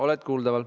Oled kuuldaval.